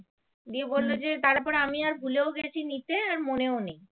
হ্যাঁ মনেও নেই